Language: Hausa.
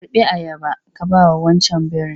Karɓi ayaba ka bawa wancan birin!